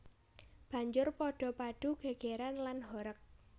Banjur padha padu gègèran lan horeg